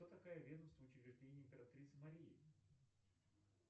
кто такая ведомство учреждений императрицы марии